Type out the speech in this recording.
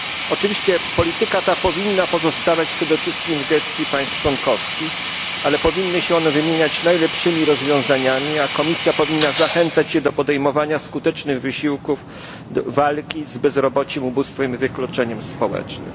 Oczywiście polityka ta powinna pozostawać przede wszystkim w gestii państw członkowskich, ale powinny się one wymieniać najlepszymi rozwiązaniami, a Komisja powinna zachęcać je do podejmowania skutecznych wysiłków, do walki z bezrobociem ubóstwem i wykluczeniem społecznym.